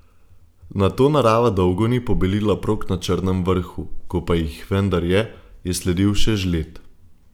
Nato narava dolgo ni pobelila prog na Črnem vrhu, ko pa jih vendar je, je sledil še žled.